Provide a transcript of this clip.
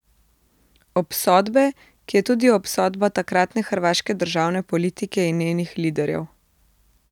Obsodbe, ki je tudi obsodba takratne hrvaške državne politike in njenih liderjev.